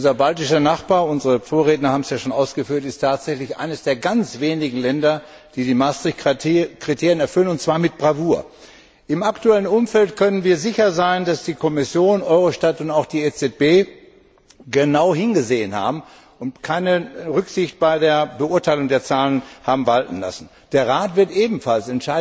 Unser baltischer Nachbar unsere Vorredner haben es ja schon ausgeführt ist tatsächlich eines der ganz wenigen Länder, die die Maastricht Kriterien erfüllen, und zwar mit Bravour! Im aktuellen Umfeld können wir sicher sein, dass die Kommission, Eurostat und auch die EZB genau hingesehen haben und keine Rücksicht bei der Beurteilung der Zahlen haben walten lassen. Der Rat wird ebenfalls